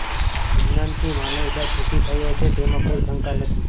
વિજ્ઞાનથી માનવજાત સુખી થયો છે તેમાં કોઈ શંકા નથી